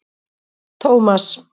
Tómas